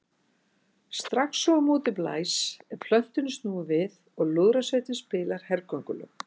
Strax og á móti blæs er plötunni snúið við og lúðrasveitin spilar hergöngulög.